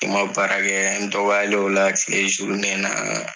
Ni n ma baara kɛ n dɔgɔyalen y'o la tile na